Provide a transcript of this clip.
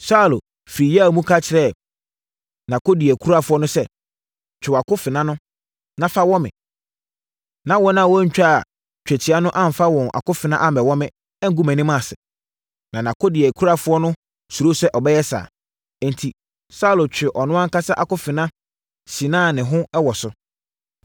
Saulo firi yea mu ka kyerɛɛ nʼakodeɛkurafoɔ no sɛ, “Twe wo akofena no, na fa wɔ me, na wɔn a wɔntwaa twetia no amfa wɔn akofena ammɛwɔ me, angu mʼanim ase.” Na nʼakodeɛkurafoɔ no suroo sɛ ɔbɛyɛ saa. Enti, Saulo twee ɔno ankasa akofena sinaa ne ho wɔ so.